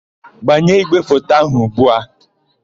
Gbanye ígwèfoto áhụ̀ ugbu a!